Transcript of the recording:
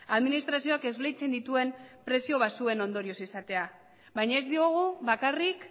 administrazioak esleitzen dituen prezio baxuen ondorioz izatea baina ez diogu bakarrik